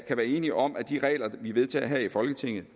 kan være enige om at de regler vi vedtager her i folketinget